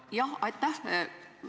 Jah, aitäh!